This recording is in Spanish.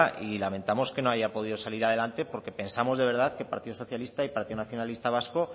y lamentamos que no haya podido salir adelante porque pensamos de verdad que partido socialista y partido nacionalista vasco